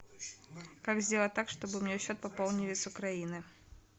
как сделать так чтобы мне счет пополнили с украины